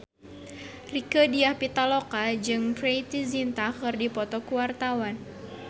Rieke Diah Pitaloka jeung Preity Zinta keur dipoto ku wartawan